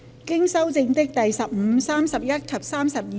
經修正的第15、31及32條。